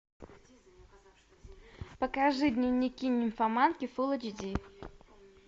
покажи дневники нимфоманки фул эйч ди